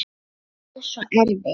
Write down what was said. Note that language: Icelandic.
Er það svo erfitt?